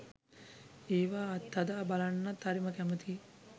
ඒවා අත්හදා බලන්නත් හරිම කැමතියි